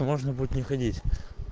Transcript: можно будет не ходить